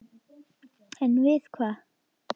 En við hvað?